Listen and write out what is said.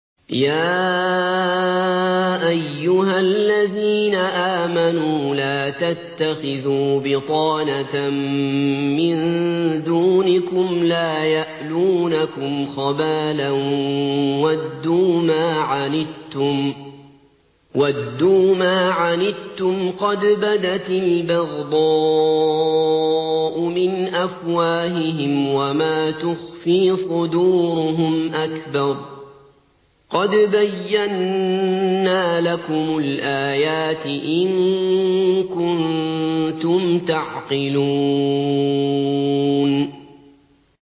يَا أَيُّهَا الَّذِينَ آمَنُوا لَا تَتَّخِذُوا بِطَانَةً مِّن دُونِكُمْ لَا يَأْلُونَكُمْ خَبَالًا وَدُّوا مَا عَنِتُّمْ قَدْ بَدَتِ الْبَغْضَاءُ مِنْ أَفْوَاهِهِمْ وَمَا تُخْفِي صُدُورُهُمْ أَكْبَرُ ۚ قَدْ بَيَّنَّا لَكُمُ الْآيَاتِ ۖ إِن كُنتُمْ تَعْقِلُونَ